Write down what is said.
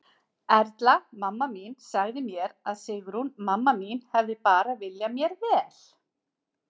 Erla, mamma mín, sagði mér að Sigrún, mamma mín, hefði bara viljað mér vel.